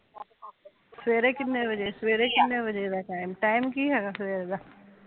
ਸਵੇਰੇ ਕਿੰਨੇ ਵਜੇ ਸਵੇਰੇ ਕਿੰਨੇ ਵਜੇ ਦਾ ਟੀਮ ਕੀ ਹੈਗਾ ਸਵੇਰ ਦਾ